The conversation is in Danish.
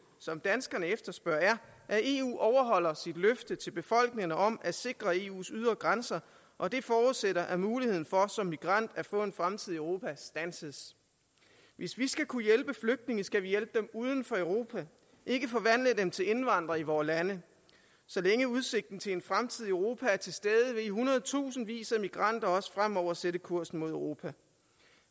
som danskerne efterspørger er at eu overholder sit løfte til befolkningerne om at sikre eus ydre grænser og det forudsætter at muligheden for som migrant at få en fremtid i europa standses hvis vi skal kunne hjælpe flygtninge skal vi hjælpe dem uden for europa og ikke forvandle dem til indvandrere i vore lande så længe udsigten til en fremtid i europa er til stede vil hundredtusindvis af migranter også fremover sætte kursen mod europa